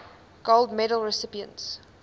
gold medal recipients